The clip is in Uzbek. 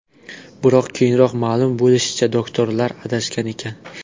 Biroq keyinroq ma’lum bo‘lishicha, doktorlar adashgan ekan.